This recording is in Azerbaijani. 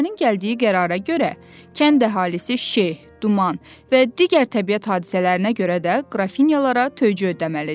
Məhkəmənin gəldiyi qərara görə kənd əhalisi şe, duman və digər təbiət hadisələrinə görə də qrafinyalara töycə ödəməlidir.